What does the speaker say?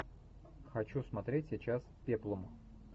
хочу смотреть сейчас пеплум